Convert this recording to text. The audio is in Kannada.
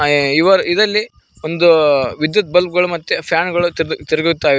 ಎ ಇವರ ಇದ್ದಲ್ಲಿ ಒಂದು ವಿದ್ಯುತ್ ಬಲ್ಬ್ ಗಳು ಮತ್ತೆ ಫ್ಯಾನ್ ಗಳು ತಿರುಗು ತಿರುಗುತ್ತಾ ಇವ್--